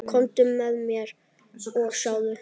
Komdu með mér og sjáðu.